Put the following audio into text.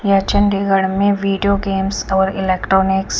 ये चंडीगड़ में video games और इलेक्ट्रॉनिकस --